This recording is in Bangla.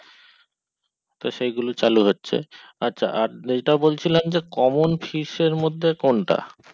তো সেগুলো চালু হচ্ছে আর এটা বলছিলাম যে common fish এর মধ্যে কোনটা